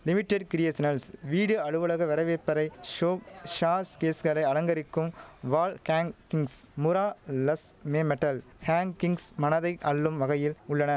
limited கிரியேசனல்ஸ் வீடு அலுவலக வரவேற்பறை ஷோ ஷாஸ் கேஸ்கறே அலங்கரிக்கும் wall hangings murals மே மெட்டல் ஹேங் கிங்ஸ் மனதை அள்ளும் வகையில் உள்ளன